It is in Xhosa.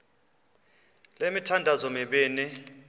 le mithandazo mibini